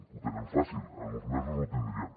ho tenen fàcil en uns mesos ho tindrien